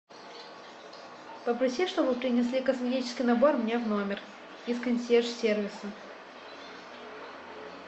попроси чтобы принесли косметический набор мне в номер из консьерж сервиса